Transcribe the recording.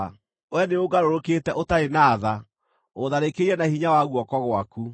Wee nĩũngarũrũkĩte ũtarĩ na tha; ũtharĩkĩire na hinya wa guoko gwaku.